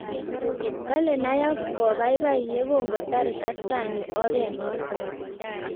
kole nayak kobaibai yekongo tar kaskani oret onoto